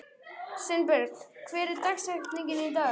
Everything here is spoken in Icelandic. Sveinberg, hver er dagsetningin í dag?